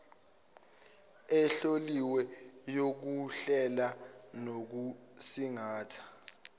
ehloliwe yokuhlela nokusingatha